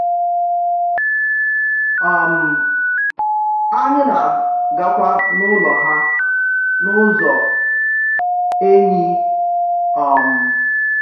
um Ányị̀ nà-àgàkwà n’ùlọ̀ hà n’ụ̀zọ̀ ènyì. um